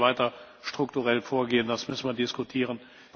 Wie wir jetzt weiter strukturell vorgehen, das müssen wir diskutieren.